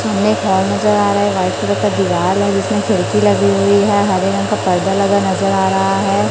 सामने एक हॉल नजर आ रहा है वाइट कलर का दीवाल है जिसमें खिड़की लगी हुई है हरे रंग का पर्दा लगा नजर आ रहा हैं।